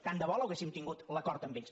tant de bo l’haguéssim tingut l’acord amb ells